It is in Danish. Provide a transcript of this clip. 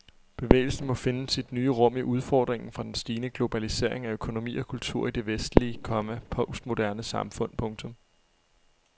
Bevægelsen må finde sit nye rum i udfordringen fra den stigende globalisering af økonomi og kultur i det vestlige, komma postmoderne samfund. punktum